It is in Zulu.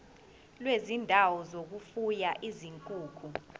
kwezindawo zokufuya izinkukhu